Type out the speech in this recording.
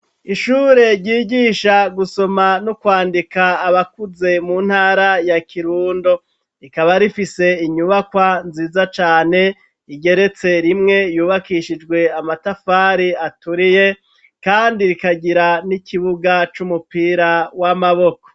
Ishure, ryigisha gusoma n'ukwandika, abakuze, mu ntara ya Kirundo; rikaba rifise, inyubakwa nziza cane, igeretse rimwe, yubakishijwe, amatafari aturiye, kandi rikagira, n'ikibuga, c'umupira w'amaboko.